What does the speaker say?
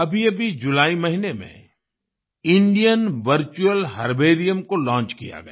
अभीअभी जुलाई महीने में इंडियन वर्चुअल हर्बेरियम को लॉन्च किया गया